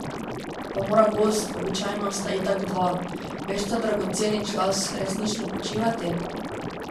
Pa mora gost, običajno sta itak dva, ves ta dragoceni čas resnično počivati?